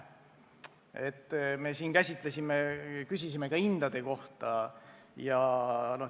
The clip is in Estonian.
Me küsisime ka hindade kohta.